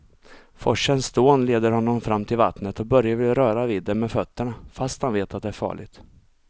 Forsens dån leder honom fram till vattnet och Börje vill röra vid det med fötterna, fast han vet att det är farligt.